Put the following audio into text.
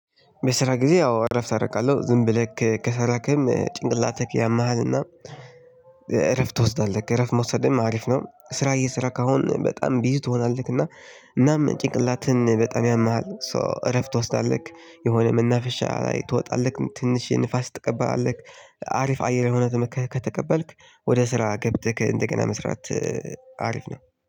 በስራ ጊዜ ያው እረፍት አደርጋለሁ ዝም ብለህ ከሰራህም ጭንቅላትህ ያምሃልና እረፍት ትወስዳለህ እረፍት መውሰድህም አሪፍ ነው። ስራ እየሰራህ አሁን በጣም ቢዚ ትሆናለህ እና እናም ጭንቅላትህን በጣም ያምሃል ሶ እረፍት ትወስዳለህ። የሆነ መናፈሻ ትወጣለህ ትንሽ ንፋስ ትቀበላለህ አሪፍ አየር የሆነ ተቀበልክ ወደ ስራ ገብተህ እንደገና መስራት። አሪፍ ነው።